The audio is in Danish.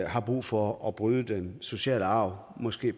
har brug for at bryde den sociale arv måske